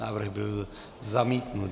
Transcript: Návrh byl zamítnut.